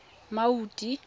maudi